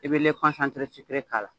E bɛ k'a la .